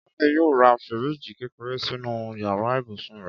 Káyọ̀dé yóò ra fíríìjì kékeré sínú yàrá ibùsùn rẹ̀